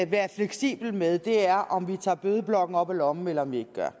være fleksibel med er om vi tager bødeblokken op af lommen eller vi ikke gør